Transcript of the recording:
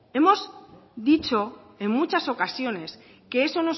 hemos dicho en muchas ocasiones que eso